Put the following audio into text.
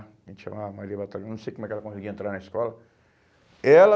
A gente chamava Maria Batalhão, não sei como que ela conseguia entrar na escola. Ela